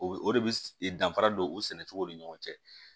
O bɛ o de bɛ danfara don o sɛnɛcogo ni ɲɔgɔn cɛ